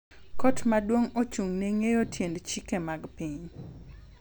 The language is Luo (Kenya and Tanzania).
Kot Maduong’ ochung' ne ng’eyo tiend chike mag piny.